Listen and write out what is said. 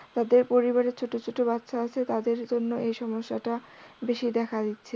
যাদের পরিবারে ছোট ছোট বাচ্চা আছে তাদের জন্য এই সমস্যা টা বেশি দেখা যাচ্ছে।